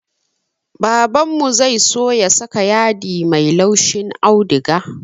Babanmu zai so ya saka yadi mai laushin auduga